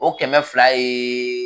O kɛmɛ fila ye